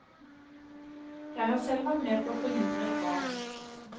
Jeg har selv vært med på å forhindre ett ran.